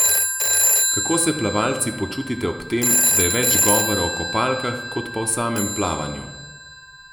Kako se plavalci počutite ob tem, da je več govora o kopalkah, kot pa o samem plavanju?